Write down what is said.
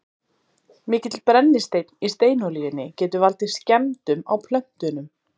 mikill brennisteinn í steinolíunni getur valdið skemmdum á plöntunum